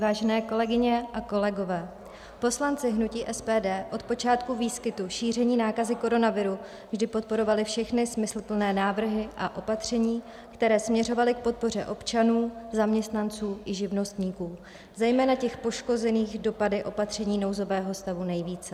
Vážené kolegyně a kolegové, poslanci hnutí SPD od počátku výskytu šíření nákazy koronaviru vždy podporovali všechny smysluplné návrhy a opatření, které směřovaly k podpoře občanů, zaměstnanců i živnostníků, zejména těch poškozených dopady opatření nouzového stavu nejvíce.